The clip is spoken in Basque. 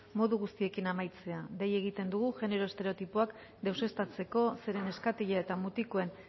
modu guztiekin amaitzea dei egiten dugu genero estereotipoak deuseztatzeko zeren neskatila eta mutikoen